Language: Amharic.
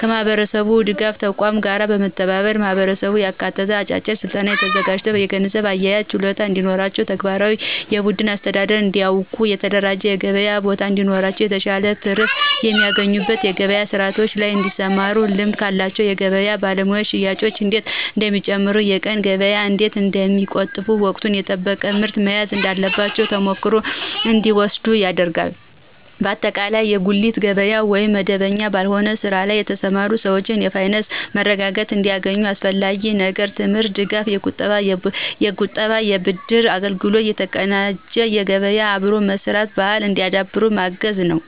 ከማህበረሰብ ድጋፍ ተቋማት ጋር በመተባበር ማህበረሰቡን ያካተተ አጭር ስልጠና ተዘጋጅቶ የገንዘብ አያያዝ ችሎታ እንዲኖራቸው፣ ተግባራዊ የብድር አስተዳደር እንዲያውቁ፣ የተደራጀ የገበያ ቦታ እንዲኖራቸው፣ የተሻለ ትርፍ በሚያስገኙ የገበያ ስርዓቶች ላይ እንዲሰማሩና ልምድ ካላቸው የገበያ ባለሙያዎች ሽያጭ እንዴት እንደሚጨምር፣ የቀን ገቢ እንዴት እንደሚቆጠብ፣ ወቅቱን የጠበቀ ምርት መያዝ እንዳለባቸው ተሞክሮ እንዲወስዱ ይደረጋል። በአጠቃላይ በጉሊት ገበያ ወይም መደበኛ ባልሆነ ስራ ላይ የተሰማሩ ሰዎች የፋይናንስ መረጋጋት እንዲያገኙ አስፈላጊው ነገር የትምህርት ድጋፍ፣ የቁጠባና የብድር አገልግሎት፣ የተቀናጀ ገበያና አብሮ የመስራት ባህልን እንዲያዳብሩ በማገዝ ነዉ።